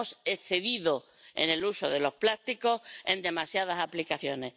Nos hemos excedido en el uso de los plásticos en demasiadas aplicaciones.